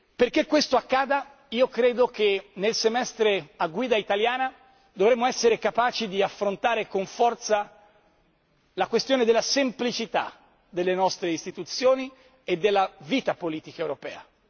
Perché questo accada io credo che nel semestre a guida italiana dovremo essere capaci di affrontare con forza la questione della semplicità delle nostre istituzioni e della vita politica europea.